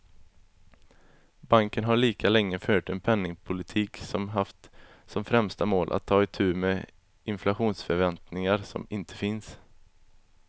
Banken har lika länge fört en penningpolitik som haft som främsta mål att ta itu med inflationsförväntningar som inte finns.